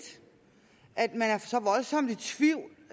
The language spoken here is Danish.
at man er så voldsomt i tvivl